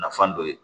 Nafan dɔ ye